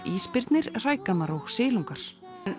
ísbirnir hrægammar og silungar